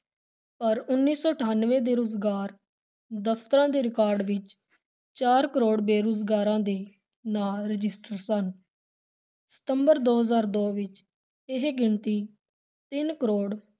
ਪਰ ਉੱਨੀ ਸੌ ਅਠਾਨਵੇਂ ਦੇ ਰੁਜ਼ਗਾਰ ਦਫ਼ਤਰਾਂ ਦੇ record ਵਿਚ ਚਾਰ ਕਰੋੜ ਬੇਰੁਜ਼ਗਾਰਾਂ ਦੇ ਨਾਂ register ਸਨ ਸਤੰਬਰ ਦੋ ਹਜ਼ਾਰ ਦੋ ਵਿਚ ਇਹ ਗਿਣਤੀ ਤਿੰਨ ਕਰੋੜ